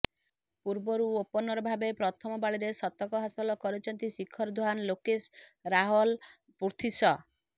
ପୂର୍ବରୁ ଓପନରଭାବେ ପ୍ରଥମ ପାଳିରେ ଶତକ ହାସଲ କରିଛନ୍ତି ଶିଖର ଧାୱନ ଲୋକେଶ ରାହଲ ପୃଥ୍ବୀ ଶ